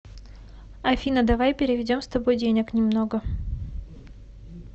афина давай переведем с тобой денег немного